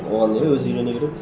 оған не өзі үйрене береді